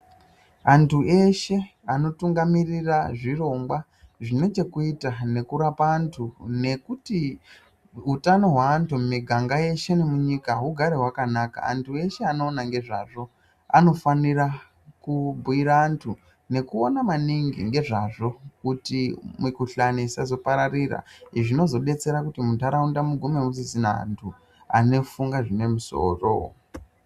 Antu eshe anotungamirirra zvirongwa zvine zvekuita nekurapa antu nekuti utano hweantu emuganga eshe nemunyika hugare hwakanaka. Anhu eshe anoona nezvazvo anofanira kubhuyira antu nekuona maningi nezvazvo kuti mikhuhlane isazopararira. Izvi zvinodetsera kuti muntaraunda mugume musisina antu anofunge zvine musoro.